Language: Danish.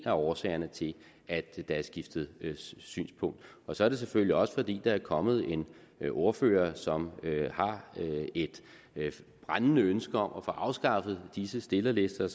af årsagerne til at der er skiftet synspunkt så er det selvfølgelig også fordi der er kommet en ordfører som har et brændende ønske om at få afskaffet disse stillerlister og